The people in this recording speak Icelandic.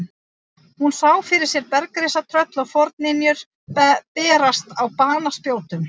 Hún sá fyrir sér bergrisa, tröll og forynjur berast á banaspjótum.